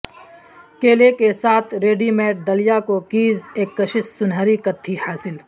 کیلے کے ساتھ ریڈی میڈ دلیا کوکیز ایک کشش سنہری کتتھئ حاصل